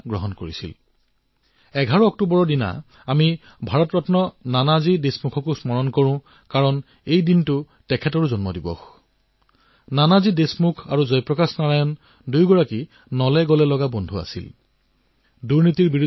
ভাৰতৰত্ন নানাজী দেশমুখৰো ১১ তাৰিখেই জয়ন্তী